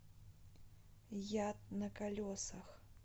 яд на колесах